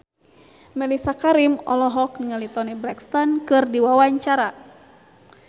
Mellisa Karim olohok ningali Toni Brexton keur diwawancara